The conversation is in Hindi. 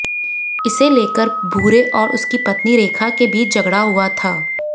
इसे लेकर भूरे और उसकी पत्नी रेखा के बीच झगड़ा हुआ था